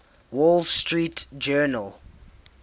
wall street journal